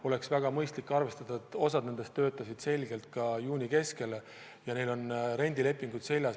On väga mõistlik arvestada, et osa neist on seni töötanud juuni keskpaigani ja neil on rendilepingud sõlmitud.